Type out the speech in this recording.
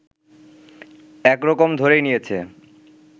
একরকম ধরেই নিয়েছে